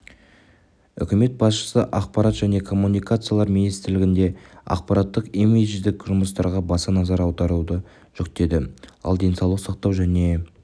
үкімет басшысы ақпарат және коммуникациялар министрлігіне ақпараттық-имидждік жұмыстарға баса назар аударуды жүктеді ал денсаулық сақтау және